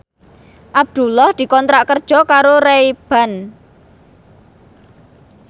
Abdullah dikontrak kerja karo Ray Ban